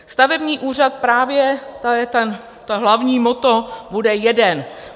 Stavební úřad právě, to je to hlavní motto, bude jeden.